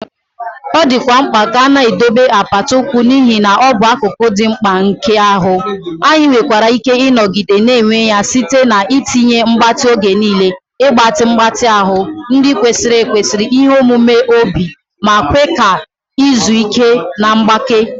Ọ dịkwa mkpa ka a na-edobe apata ụkwụ n'ihi na ọ bụ akụkụ dị mkpa nke ahụ, anyị nwekwara ike ịnọgide na-enwe ya site na: itinye mgbatị oge niile, ịgbatị mgbatị ahụ, nri kwesịrị ekwesị, ihe omume obi, ma kwe ka izu ike na mgbake.